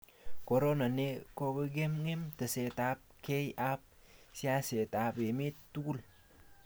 korona ne kokongem teset ab kei ak siaset ab emet tugul